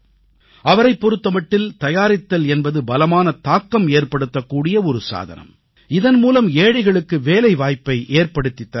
அவரைப் பொறுத்த மட்டில் தயாரித்தல் என்பது பலமான தாக்கம் ஏற்படுத்தக்கூடிய ஒரு சாதனம் இதன்மூலம் ஏழைகளுக்கு வேலைவாய்ப்பை ஏற்படுத்தித் தர முடியும்